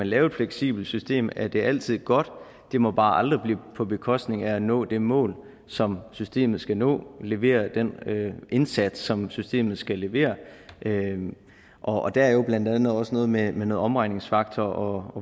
lave et fleksibelt system er det altid godt det må bare aldrig blive på bekostning af at nå det mål som systemet skal nå at levere den indsats som systemet skal levere og der er jo blandt andet også noget med noget omregningsfaktor